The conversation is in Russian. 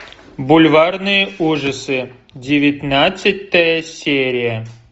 бульварные ужасы девятнадцатая серия